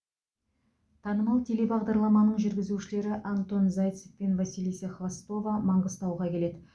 танымал телебағдарламаның жүргізушілері антон зайцев пен василиса хвостова маңғыстауға келеді